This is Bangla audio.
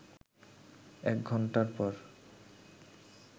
১ ঘণ্টা পর